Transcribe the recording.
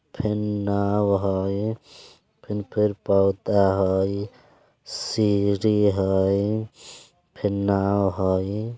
फेन नाव हय फिन फिर पौधा हई सीढ़ी हय फिर नाव हय।